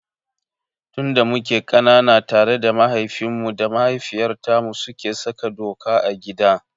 Tun da muke ƙanana tare mahaifinmu da mahaifiyartmu suke saka doka a gida.